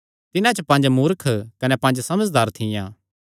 तिन्हां च पंज मूर्ख कने पंज समझदार थियां